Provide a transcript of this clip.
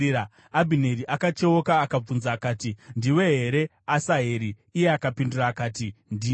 Abhineri akacheuka akabvunza akati, “Ndiwe here, Asaheri?” Iye akapindura akati, “Ndini.”